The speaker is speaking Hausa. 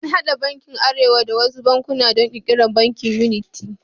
An haɗe bankin arewa da wasu bankuna don ƙirƙirar Bankin yuniti.